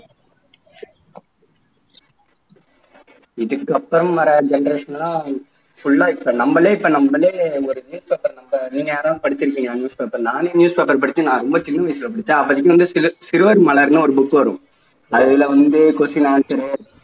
இதுக்கு அப்புறம் வரும் generations லாம் full ஆ இப்போ நம்மளே நம்மளே news paper நீங்க யாராவது படிச்சுருக்கீங்களா news paper நானே news paper படிச்சு ரொம்ப சின்ன வயசுல படிச்சென் அப்போதைக்கு வந்து சில சிறுவர் மலர்ன்னு ஒரு book வரும் அதில வந்து question answer உ